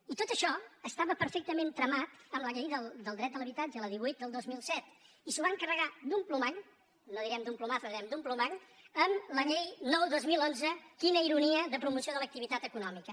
i tot això estava perfectament tramat amb la llei del dret a l’habitatge la divuit del dos mil set i s’ho van carregar d’un plomall no direm d’un plumazo direm d’un plomall amb la llei nou dos mil onze quina iro·nia de promoció de l’activitat econòmica